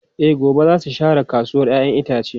E, gobe za su share kasuwar ‘ya’yan itace.